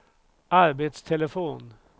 arbetstelefon